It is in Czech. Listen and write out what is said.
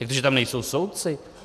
Jak to, že tam nejsou soudci?